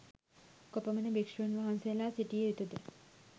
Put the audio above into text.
කොපමණ භික්‍ෂූන් වහන්සේලා සිටිය යුතු ද?